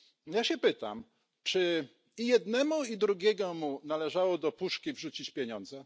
Ja się pytam, czy jednemu i drugiemu należało do puszki wrzucić pieniądze?